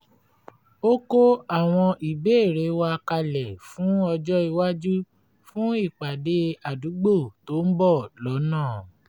ó kó àwọn ìbéèrè wa kalẹ̀ fún ọjó iwájú fún ìpàdé àdúgbò tó ń bọ̀ lọ́nà